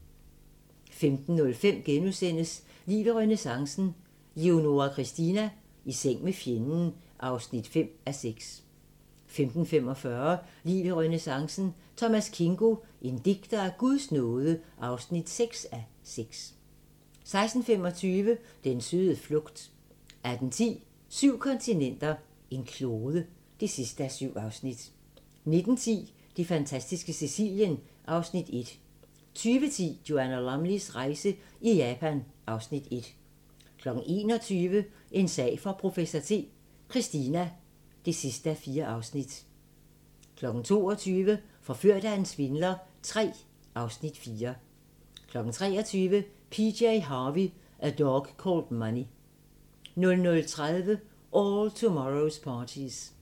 15:05: Liv i renæssancen - Leonora Christina: I seng med fjenden (5:6)* 15:45: Liv i renæssancen - Thomas Kingo: En digter af Guds nåde (6:6) 16:25: Den søde flugt 18:10: Syv kontinenter, en klode (7:7) 19:10: Det fantastiske Sicilien (Afs. 1) 20:10: Joanna Lumleys rejse i Japan (Afs. 1) 21:00: En sag for professor T: Christina (4:4) 22:00: Forført af en svindler III (Afs. 4) 23:00: PJ Harvey: A Dog Called Money 00:30: All Tomorrow's Parties